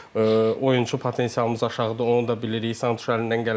Oyunçu potensialımız aşağıdır, onu da bilirik, Santuş əlindən gələni eləyir.